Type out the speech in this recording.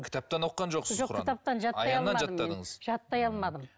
кітаптан оқыған жоқсыз кітаптан жаттай алмадым мен жаттай алмадым